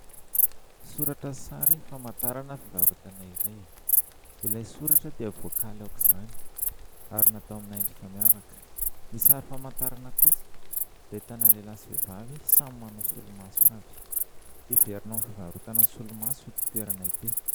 Soratra sy sary famantarana fivarotana iray. Ilay soratra dia voakaly aok'izany ary natao amina endrika miavaka. Ny sary famantarana kosa dia ahitana lehilahy sy vehivavy samy manao solomaso avy. Heverina ho fivarotana solomaso ity toerana ity.